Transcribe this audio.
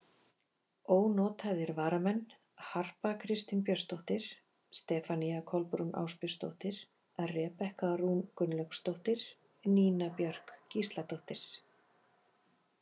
Ónotaðir varamenn: Harpa Kristín Björnsdóttir, Stefanía Kolbrún Ásbjörnsdóttir, Rebekka Rún Gunnlaugsdóttir, Nína Björk Gísladóttir.